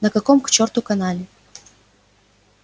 на каком к чёрту канале